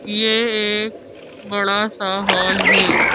यह एक बड़ा सा हॉल है।